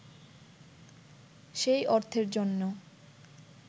সেই অর্থের জন্য